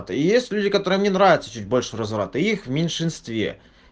есть люди которым не нравится чуть больше разврата их в меньшинстве